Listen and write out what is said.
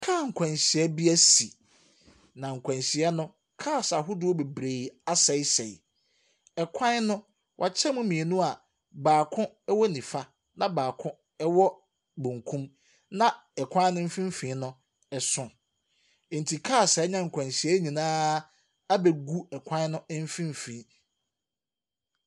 Car akwanhyia bi ɛsi. Na nkwanhyia no cars ahodoɔ bebree asɛesɛe. Ɛkwan no wakyɛ mu mmienu a baako ɛwɔ nifa na baako ɛwɔ benkum na ɛkwan no mfimfin no ɛso nti cars a ɛnya nkwanhyia no nyinaa abegu ɛkwan no mfimfin.